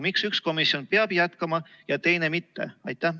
Miks üks komisjon peab jätkama ja teine mitte?